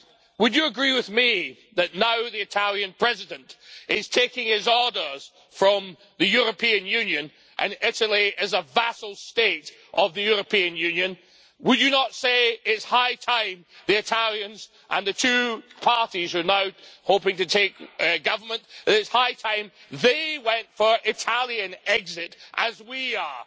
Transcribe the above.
Would you agree with me that now the Italian President is taking his orders from the European Union and Italy is a vassal state of the European Union, would you not say it's high time the Italians and the two parties who are now hoping to take government that it's high time they went for Italian exit as we are?